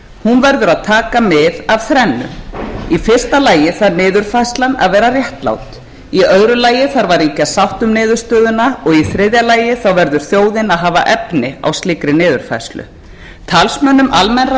hún verður að taka mið af þrennu í fyrsta lagi þarf niðurfærslan að vera réttlát í öðru lagi þarf að ríkja sátt um niðurstöðuna og í þriðja lagi verður þjóðin að hafa efni á slíkri niðurfærslu talsmönnum almennra